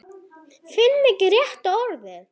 Finn ekki rétta orðið.